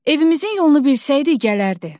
Evimizin yolunu bilsəydi gələrdi.